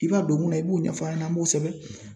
I b'a don mun na, i b'o ɲɛf'a ɲɛna , an b'o sɛbɛn.